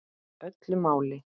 Öllu máli.